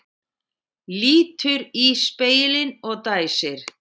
Lítur í spegilinn og dæsir.